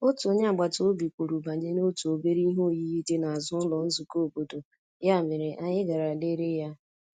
Otu onye agbata obi kwuru banyere otu obere ihe oyiyi dị n’azụ ụlọ nzukọ obodo, ya mere anyị gara lere ya.